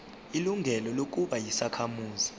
ilungelo lokuba yisakhamuzi